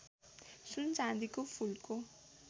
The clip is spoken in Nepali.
सुन चाँदीको फूलको